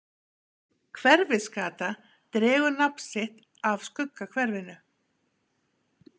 hverfisgata dregur nafn sitt af skuggahverfinu